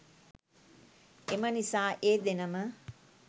එමනිසා ඒ දෙනම